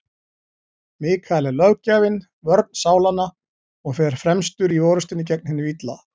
Mikael er löggjafinn, vörn sálanna, og fer fremstur í orrustunni gegn hinu illa.